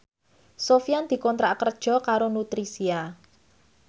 Sofyan dikontrak kerja karo Nutricia